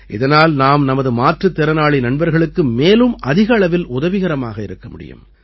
இதனால் நாம் நமது மாற்றுத் திறனாளி நண்பர்களுக்கு மேலும் அதிக அளவில் உதவிகரமாக இருக்க முடியும்